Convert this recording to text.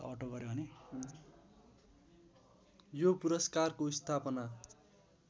यो पुरस्कारको स्थापना